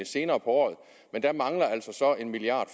senere på året men der mangler altså en milliard